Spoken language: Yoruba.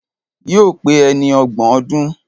Yóò pé ẹni ọgbọ̀n ọdún